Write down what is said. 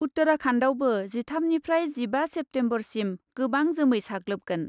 उत्तराखान्डआवबो जिथामनिफ्राय जिबा सेप्तेम्बरसिम गोबां जोमै साग्लोबगोन ।